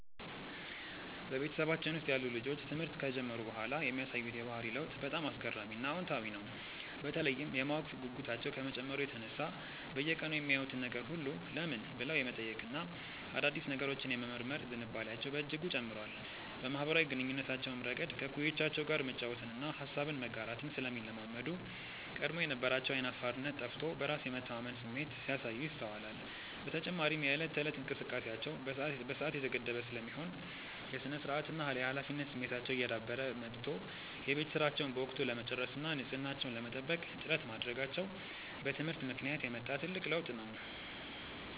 በቤተሰባችን ውስጥ ያሉ ልጆች ትምህርት ከጀመሩ በኋላ የሚያሳዩት የባህሪ ለውጥ በጣም አስገራሚና አዎንታዊ ነው፤ በተለይም የማወቅ ጉጉታቸው ከመጨመሩ የተነሳ በየቀኑ የሚያዩትን ነገር ሁሉ "ለምን?" ብለው የመጠየቅና አዳዲስ ነገሮችን የመመርመር ዝንባሌያቸው በእጅጉ ጨምሯል። በማኅበራዊ ግንኙነታቸውም ረገድ ከእኩዮቻቸው ጋር መጫወትንና ሐሳብን መጋራትን ስለሚለማመዱ፣ ቀድሞ የነበራቸው ዓይን አፋርነት ጠፍቶ በራስ የመተማመን ስሜት ሲያሳዩ ይስተዋላል። በተጨማሪም የዕለት ተዕለት እንቅስቃሴያቸው በሰዓት የተገደበ ስለሚሆን፣ የሥነ-ስርዓትና የኃላፊነት ስሜታቸው እየዳበረ መጥቶ የቤት ሥራቸውን በወቅቱ ለመጨረስና ንጽሕናቸውን ለመጠበቅ ጥረት ማድረጋቸው በትምህርት ምክንያት የመጣ ትልቅ ለውጥ ነው።